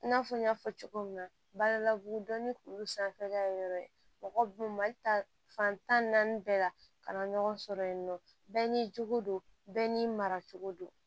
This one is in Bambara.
I n'a fɔ n y'a fɔ cogo min na badalabugu dɔnni k'olu sanfɛla yɔrɔ ye mɔgɔ b'u mali ta fan tan ni naani bɛɛ la ka na ɲɔgɔn sɔrɔ yen nɔ bɛɛ n'i jogo don bɛɛ n'i mara cogo don